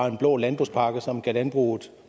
en blå landbrugspakke som gav landbruget